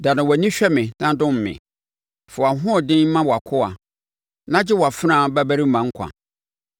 Dane wʼani hwɛ me na dom me; fa wʼahoɔden ma wʼakoa na gye wʼafenaa babarima nkwa.